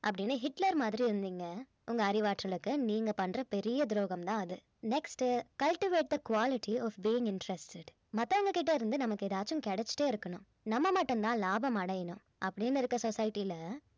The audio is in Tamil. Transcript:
அப்படின்னு ஹிட்லர் மாதிரி இருந்தீங்க உங்க அறிவாற்றலுக்கு நீங்க பண்ற பெரிய துரோகம் தான் அது next cultivate the quality of being interested மத்தவங்க கிட்ட இருந்து நமக்கு ஏதாச்சும் கிடைச்சுட்டே இருக்கணும் நம்ம மட்டும் தான் லாபம் அடையனும் அப்படின்னு இருக்கிற society ல